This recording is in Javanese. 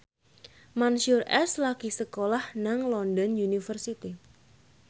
Mansyur S lagi sekolah nang London University